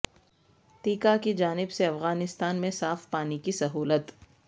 TIKA کی جانب سے افغانستان میں صاف پانی کی سہولت